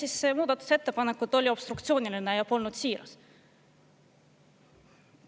Milline muudatusettepanek nendest oli obstruktsiooniline ja polnud siiras?